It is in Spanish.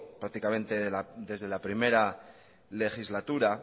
prácticamente desde la primera legislatura